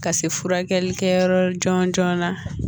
Ka se furakɛli kɛyɔrɔ la jɔnjɔna